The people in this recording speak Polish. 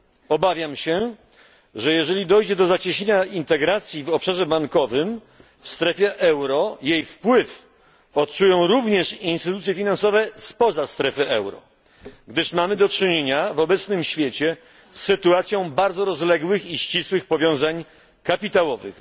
Obawiam się, że jeżeli dojdzie do zacieśnienia integracji w obszarze bankowym w strefie euro jej wpływ odczują również instytucje finansowe spoza strefy euro, gdyż mamy do czynienia w obecnym świecie z sytuacją bardzo rozległych i ścisłych powiązań kapitałowych.